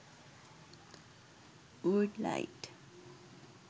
wood light